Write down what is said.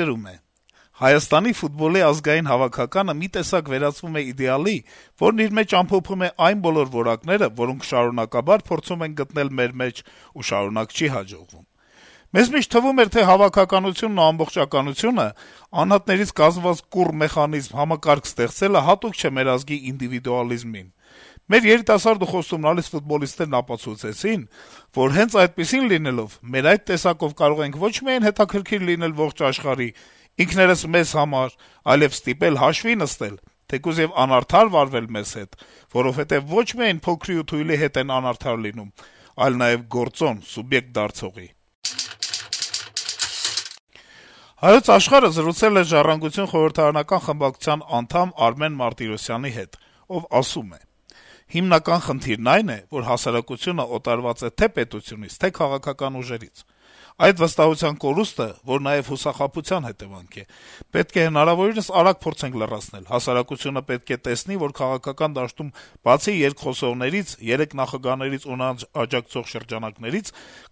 գրում է. - «Հայաստանի ֆուտբոլի ազգային հավաքականը վերածվում է իդեալի, որն իր մեջ ամփոփում է այն բոլոր որակները, որոնք շարունակաբար փորձում ենք գտնել մեր մեջ ու շարունակ չի հաջողվում: Մեզ միշտ թվում էր, թե հավաքականությունն ու ամբողջականությունը, անհատներից կազմված կուռ մեխանիզմ, համակարգ ստեղծելը հատուկ չէ մեր ազգի ինդիվիդուալիզմին: Մեր երիտասարդ ու խոստումնալից ֆուտբոլիստները ապացուցեցին, որ, հենց այդպիսին լինելով, մեր այդ տեսակով կարող ենք ոչ միայն հետաքրքիր լինել ողջ աշխարհին, ինքներս մեզ, այլեւ ստիպել հաշվի նստել, թեկուզեւ անարդար վարվել մեզ հետ, որովհետեւ ոչ միայն փոքրի ու թույլի հետ են անարդար լինում, այլ նաեւ գործոն, սուբյեկտ դարձողի»: «Հայոց Աշխարհ»-ը զրուցել է «Ժառանգություն» կուսակցության խորհրդարանական խմբակցության անդամ Արմեն Մարտիրոսյանի հետ: Պատգամավորն ասում է. - «Հիմնական խնդիրն այն է, որ հասարակությունը օտարված է թե՛ պետությունից, թե՛ քաղաքական ուժերից։ Այդ վստահության կորուստը, որ նաեւ հուսախաբության հետեւանք է, պետք է հնարավորինս արագ փորձենք լրացնել. հասարակությունը պետք է տեսնի, որ քաղաքական դաշտում, բացի «երկխոսողներից», երեք նախագահներից ու նրանց աջակցող շրջանակներից,